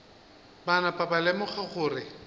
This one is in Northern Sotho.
ba napa ba lemoga gore